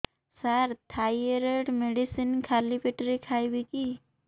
ସାର thyroid medicine ଖାଲି ପେଟରେ ଖାଇବି କି